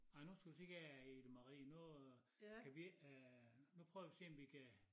Ej nu skal du se her Ida Marie nu øh kan vi ikke øh nu prøver vi at se om vi kan